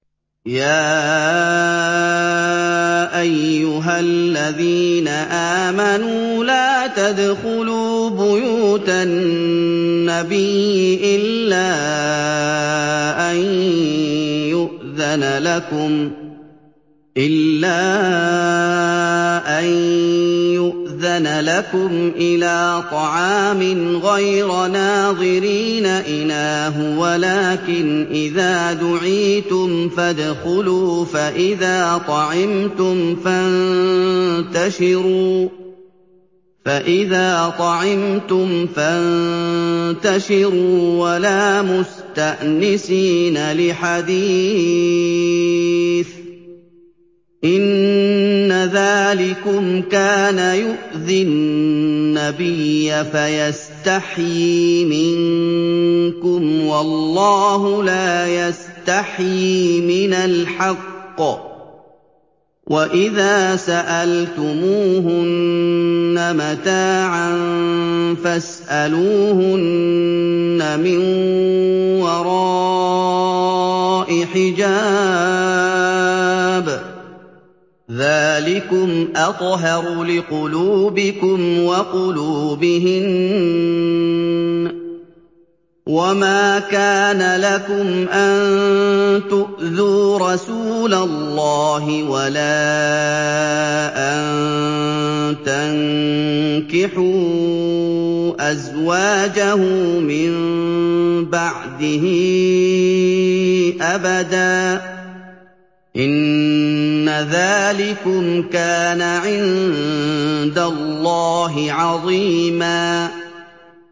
يَا أَيُّهَا الَّذِينَ آمَنُوا لَا تَدْخُلُوا بُيُوتَ النَّبِيِّ إِلَّا أَن يُؤْذَنَ لَكُمْ إِلَىٰ طَعَامٍ غَيْرَ نَاظِرِينَ إِنَاهُ وَلَٰكِنْ إِذَا دُعِيتُمْ فَادْخُلُوا فَإِذَا طَعِمْتُمْ فَانتَشِرُوا وَلَا مُسْتَأْنِسِينَ لِحَدِيثٍ ۚ إِنَّ ذَٰلِكُمْ كَانَ يُؤْذِي النَّبِيَّ فَيَسْتَحْيِي مِنكُمْ ۖ وَاللَّهُ لَا يَسْتَحْيِي مِنَ الْحَقِّ ۚ وَإِذَا سَأَلْتُمُوهُنَّ مَتَاعًا فَاسْأَلُوهُنَّ مِن وَرَاءِ حِجَابٍ ۚ ذَٰلِكُمْ أَطْهَرُ لِقُلُوبِكُمْ وَقُلُوبِهِنَّ ۚ وَمَا كَانَ لَكُمْ أَن تُؤْذُوا رَسُولَ اللَّهِ وَلَا أَن تَنكِحُوا أَزْوَاجَهُ مِن بَعْدِهِ أَبَدًا ۚ إِنَّ ذَٰلِكُمْ كَانَ عِندَ اللَّهِ عَظِيمًا